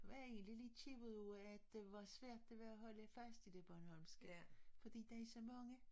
Jeg var egentlig lidt ked af det over at det var svært at holde fast i det bornholmske for der er så mange